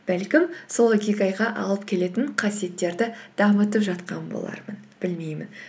бәлкім сол икигайға алып келетін қасиеттерді дамытып жатқан болармын білмеймін